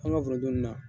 An ka foronto nin na